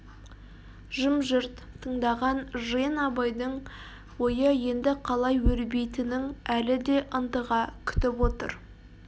жым-жырт тыңдаған жиын абайдың ойы енді қалай өрбитінің әлі де ынтыға күтіп отыр